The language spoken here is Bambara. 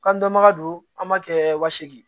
Kan dɔnbaga don an b'a kɛ wa seegin